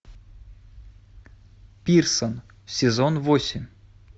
пирсон сезон восемь